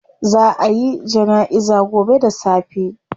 Zaa a yi janaiza gobe da safe